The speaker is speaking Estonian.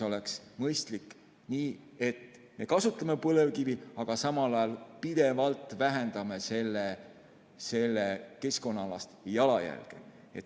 Oleks mõistlik nii, et me kasutame põlevkivi, aga samal ajal pidevalt vähendame selle keskkonnaalast jalajälge.